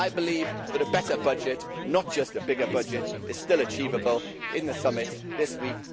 I believe that a better budget not just a bigger budget is still achievable in the summit this week.